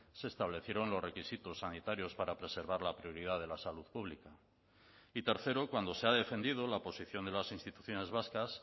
se establecieron los requisitos sanitarios para preservar la prioridad de la salud pública y tercero cuando se ha defendido la posición de las instituciones vascas